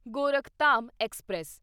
Gorakhdham express